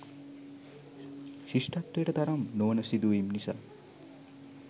ශිෂ්ටත්වයට තරම් නොවන සිදුවීම් නිසා